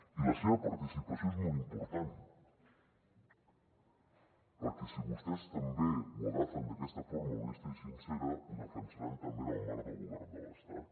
i la seva participació és molt important perquè si vostès també ho agafen d’aquesta forma honesta i sincera ho defensaran també en el marc del govern de l’estat